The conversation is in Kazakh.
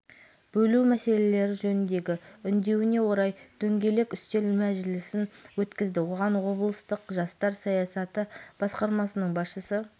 мемлекеттік педагогикалық институтының профессорлық ұжымы мен студенттері қазақстан республикасы президентінің билік тармақтары арасында өкілеттіктерді қайта